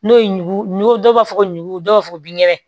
N'o ye ɲugu dɔw b'a fɔ ko ɲugu dɔw b'a fɔ ko binkɛnɛ